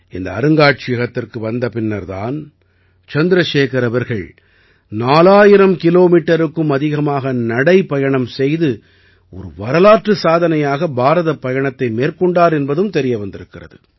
இந்த அருங்காட்சியகத்திற்கு வந்த பின்னர் தான் சந்திரசேகர் அவர்கள் 4000 கிலோமீட்டருக்கும் அதிகமாக நடைப்பயணம் செய்து ஒரு வரலாற்று சாதனையாக பாரதப் பயணத்தை மேற்கொண்டார் என்பதும் தெரிய வந்திருக்கிறது